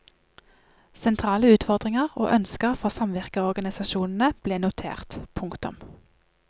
Sentrale utfordringer og ønsker fra samvirkeorganisasjonene ble notert. punktum